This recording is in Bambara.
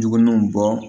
Juguninw bɔ